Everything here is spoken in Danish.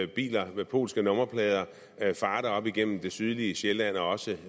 biler med polske nummerplader farte op igennem det sydlige sjælland og også